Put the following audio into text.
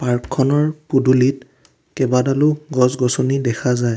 পাৰ্কখনৰ পদূলিত কেইবাডালো গছ গছনি দেখা যায়।